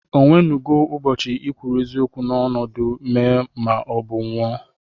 Onwénugó ubochi ikwuru eziokwu n'ọnọdụ mèé ma ọ bụ nwụọ?